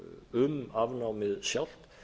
um afnámið sjálft